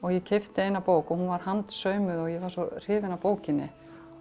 ég keypti eina bók og hún var handsaumuð og ég var svo hrifin af bókinni